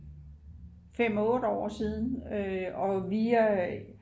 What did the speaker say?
5-8 år siden og vi er